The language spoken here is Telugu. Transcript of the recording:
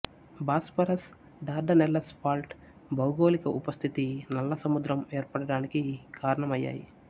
బాస్ఫరస్ డార్డనెల్లెస్ ఫాల్ట్ భౌగోలిక ఉపస్థితి నల్లసముద్రం ఏర్పడడానికి కారణమయ్యాయి